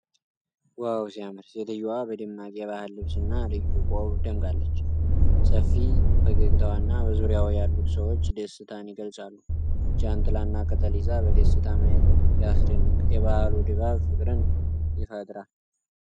ዋው ሲያምር! ሴትየዋ በደማቅ የባህል ልብስና ልዩ ቆብ ደምቃለች። ሰፊ ፈገግታዋና በዙሪያዋ ያሉት ሰዎች ደስታን ይገልጻሉ። ጃንጥላና ቅጠል ይዛ በደስታ ማየቷ ሲያስደንቅ! የበዓሉ ድባብ ፍቅርን ይፈጥራል።